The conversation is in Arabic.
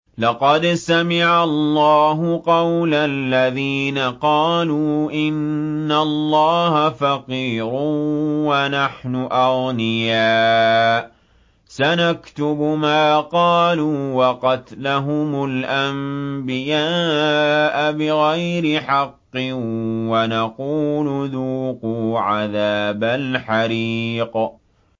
لَّقَدْ سَمِعَ اللَّهُ قَوْلَ الَّذِينَ قَالُوا إِنَّ اللَّهَ فَقِيرٌ وَنَحْنُ أَغْنِيَاءُ ۘ سَنَكْتُبُ مَا قَالُوا وَقَتْلَهُمُ الْأَنبِيَاءَ بِغَيْرِ حَقٍّ وَنَقُولُ ذُوقُوا عَذَابَ الْحَرِيقِ